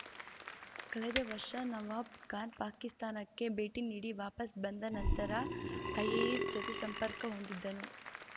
ಕಳೆದ ವರ್ಷ ನವಾಬ್‌ಖಾನ್ ಪಾಕಿಸ್ತಾನಕ್ಕೆ ಭೇಟಿ ನೀಡಿ ವಾಪಸ್ ಬಂದ ನಂತರ ಐಎಸ್‌ಐ ಜತೆ ಸಂಪರ್ಕ ಹೊಂದಿದ್ದನು